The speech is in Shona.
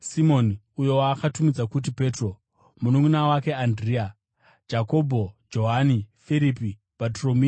Simoni (uyo waakatumidza kuti Petro), mununʼuna wake Andirea, Jakobho, Johani, Firipi, Bhatoromeo,